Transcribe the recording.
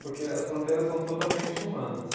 Porque as fronteiras são totalmente humanas.